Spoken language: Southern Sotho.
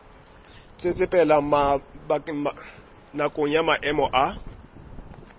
tsetsepela nakong ya maemo a